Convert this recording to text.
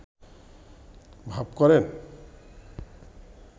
ভাব করেন